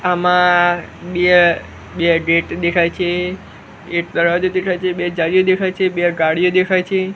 આમાં બે બે ગેટ દેખાય છે એક દરવાજો દેખાય છે બે જાળીઓ દેખાય છે બે ગાડીઓ દેખાય છે.